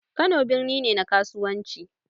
Kano birni ne na kasuwanci